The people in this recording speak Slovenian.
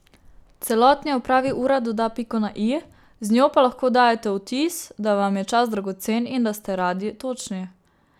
Celotni opravi ura doda piko na i, z njo pa lahko dajete vtis, da vam je čas dragocen in da ste radi točni.